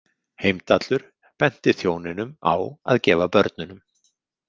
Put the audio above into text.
Heimdallur benti þjóninum á að gefa börnunum.